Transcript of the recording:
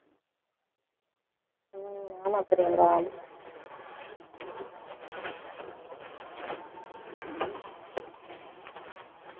உம் ஆமா பிரியங்கா